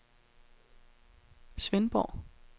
Svendborg